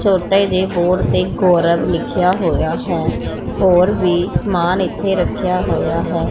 ਛੋਟੇ ਜੇ ਬੋਰਡ ਤੇ ਗੌਰਵ ਲਿਖਿਆ ਹੋਇਆ ਹੈ ਹੋਰ ਵੀ ਸਮਾਨ ਇਥੇ ਰੱਖਿਆ ਹੋਇਆ ਹੈ।